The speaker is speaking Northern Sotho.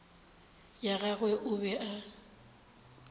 ya gagwe o be a